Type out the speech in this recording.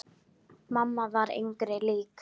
Mamma var engri lík.